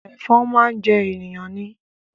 Ẹ̀fọn máa ń jẹ ènìyàn ni